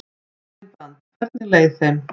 Malín Brand: Hvernig leið þeim?